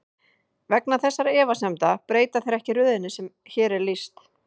Vegna þessara efasemda breyta þeir ekki röðinni sem hér er lýst.